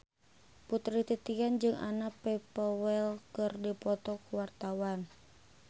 Putri Titian jeung Anna Popplewell keur dipoto ku wartawan